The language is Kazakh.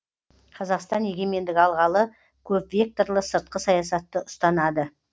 қазақстан егемендік алғалы көпвекторлы сыртқы саясатты ұстанады